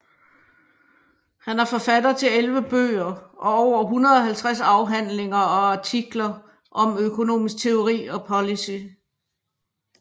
Han er forfatter til 11 bøger og over 150 afhandlinger og artikler om økonomisk teori og policy